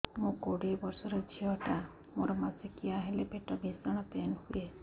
ମୁ କୋଡ଼ିଏ ବର୍ଷର ଝିଅ ଟା ମୋର ମାସିକିଆ ହେଲେ ପେଟ ଭୀଷଣ ପେନ ହୁଏ